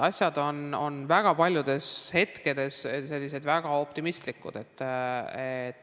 Asjad on väga paljudel hetkedel väga optimistlikud.